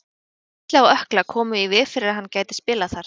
Meiðsli á ökkla komu í veg fyrir að hann gæti spilað þar.